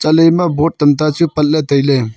chatley ema board tamta chu patley taily.